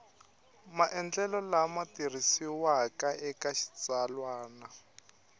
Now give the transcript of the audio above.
maendlelo lama tirhisiwaka eka xitsalwana